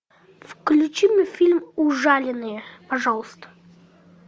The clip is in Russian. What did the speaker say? включи мне фильм ужаленные пожалуйста